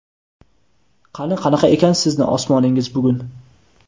Qani qanaqa ekan sizni osmoningiz bugun.